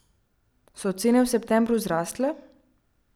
So cene v septembru zrasle?